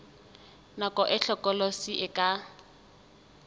nako e hlokolosi e ka